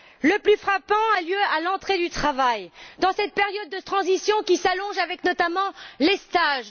Le plus frappant a lieu à l'entrée sur le marché du travail, dans cette période de transition qui s'allonge avec notamment les stages